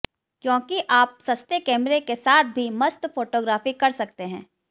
क्योंकि आप सस्ते कैमरे के साथ भी मस्त फोटोग्राफी कर सकते हैं